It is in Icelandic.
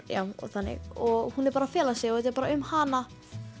og þannig og hún er bara að fela sig og þetta er bara um hana